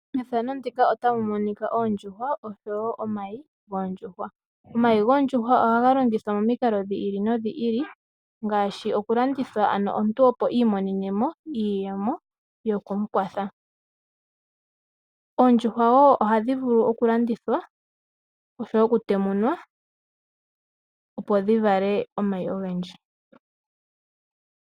Oondjuhwa oshowo omayi goondjuhwa, omayi goondjuhwa ohaga landithwa momikalo dhi ili nodhi ili ngaashi oku landithwa omuntu opo imonene mo iiyemo yoku ikwatha. Oondjuhwa ohadhi vulu oku landithwa oshowo oku temunwa opo dhi vale omayi ogendji.